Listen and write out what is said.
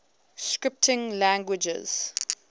scripting languages